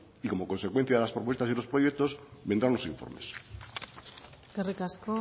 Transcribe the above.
y como consecuencia de las propuestas y los proyectos vendrán los informes eskerrik asko